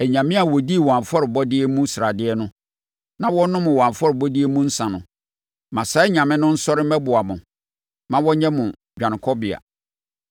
anyame a wɔdii wɔn afɔrebɔdeɛ mu sradeɛ no na wɔnom wɔn afɔrebɔdeɛ mu nsã no? Ma saa anyame no nsɔre mmɛboa mo! Ma wɔnyɛ mo dwanekɔbea!